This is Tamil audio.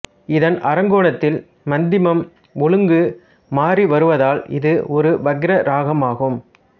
இதன் ஆரோகணத்தில் மத்திமம் ஒழுங்கு மாறி வருவதால் இது ஒரு வக்கிர இராகம் ஆகும்